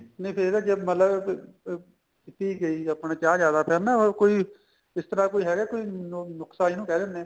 ਨਹੀਂ ਕਈ ਵਾਰ ਜ਼ੇ ਮਤਲਬ ਅਹ ਪੀਤੀ ਗਈ ਆਪਣੇ ਚਾਹ ਜਿਆਦਾ time ਨਾ ਉਹ ਕੋਈ ਇਸ ਤਰ੍ਹਾਂ ਕੋਈ ਹੈਗਾ ਕੋਈ ਨੁਕਸਾ ਜਿਹਨੂੰ ਕਹਿ ਦਿੰਨੇ ਆ